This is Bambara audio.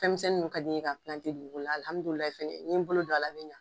Fɛnmisɛn ninnu ka di n ye k'a dugu kɔnɔna la,, alhamidu laahi ni n ye n bolo don a la bɛ ɲɛ.